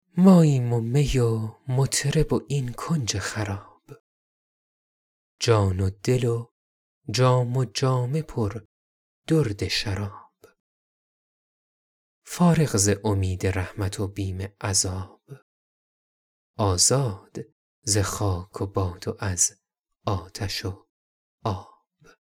ماییم و می و مطرب و این کنج خراب جان و دل و جام و جامه پر درد شراب فارغ ز امید رحمت و بیم عذاب آزاد ز خاک و باد و از آتش و آب